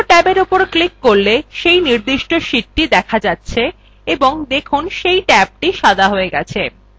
অন্য ট্যাবের উপর ক্লিক করলে সেই নির্দিষ্ট sheet দেখা যাচ্ছে এবং দেখুন সেই ট্যাব সাদা হয়ে গেছে